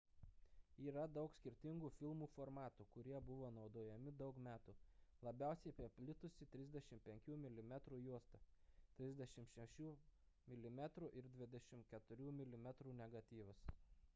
yra daug skirtingų filmų formatų kurie buvo naudojami daug metų. labiausiai paplitusi 35 mm juosta 36 mm ir 24 mm negatyvas